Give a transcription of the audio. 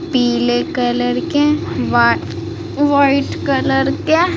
पीले कलर के वा व्हाइट कलर के --